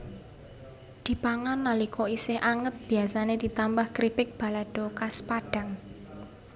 Dipangan nalika isih anget biasané ditambah kripik balado khas Padang